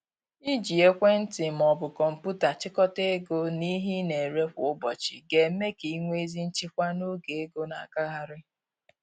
Iji ekwentị ma ọ bụ kọmpụta chịkọta ego na ihe ị na-ere kwa ụbọchị ga eme ka i nwee ezi nchịkwa n’oge ego na agagharị